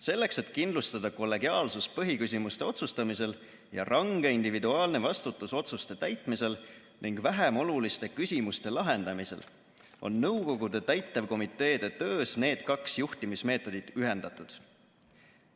Selleks, et kindlustada kollegiaalsus põhiküsimuste otsustamisel ja range individuaalne vastutus otsuste täitmisel ning vähemoluliste küsimuste lahendamisel, on nõukogude täitevkomiteede töös need kaks juhtimismeetodit ühendatud.